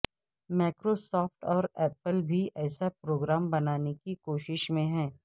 Microsoft اور Apple بھی ایسا پروگرام بنانے کی کوشش میں ہیں